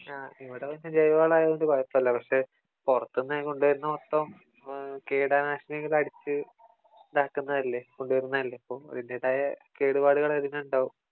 ആ ഇവിടെ പിന്നെ ജൈവ വളമായതുകൊണ്ട് കുഴപ്പമില്ല പക്ഷേ പുറത്തുന്നു കൊണ്ടൊരുന്നത് മൊത്തം കീട നാശിനികള് അടിച്ചു ഇതാക്കുന്നതല്ലേ കൊണ്ടൊരുന്നതല്ലേ അപ്പോ അതിന്റേതായ കേടുപാടുകള് അതിനുണ്ടാകും